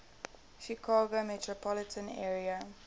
chicago metropolitan area